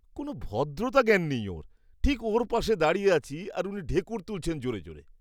কোন ভদ্রতা জ্ঞান নেই ওঁর। ঠিক ওঁর পাশে দাঁড়িয়ে আছি আর উনি ঢেঁকুর তুলছেন জোরে জোরে।